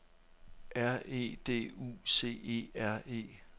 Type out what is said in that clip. R E D U C E R E